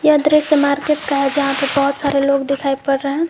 यह दृश्य मार्केट का है जहां पे बहोत सारे लोग दिखाई पड़ रहे हैं।